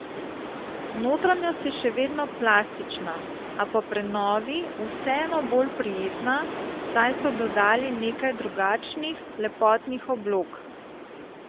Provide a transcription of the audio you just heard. Notranjost je še vedno plastična, a po prenovi vseeno bolj prijetna, saj so dodali nekaj drugačnih lepotnih oblog.